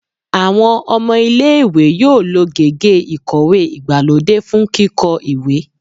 Awọn ọmọ ile-iwe yoo lo gègé ikowe igbalode fun kikọ iwe